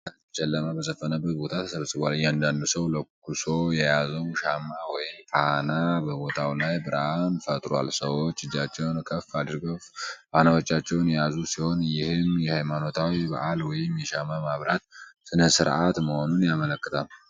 በርካታ ሕዝብ ጨለማ በሰፈነበት ቦታ ተሰብስቧል፡፡ እያንዳንዱ ሰው ለኩሶ የያዘው ሻማ ወይም ፋና በቦታው ላይ ብርሃን ፈጥሯል፡፡ ሰዎች እጃቸውን ከፍ አድርገው ፋናዎቻቸውን የያዙ ሲሆን፣ ይህም የሃይማኖታዊ በዓል ወይም የሻማ ማብራት ሥነ-ሥርዓት መሆኑን ያመለክታል፡፡